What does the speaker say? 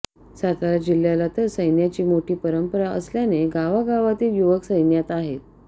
सातारा जिल्ह्याला तर सैन्याची मोठी परंपरा असल्याने गावागावांतील युवक सैन्यात आहेत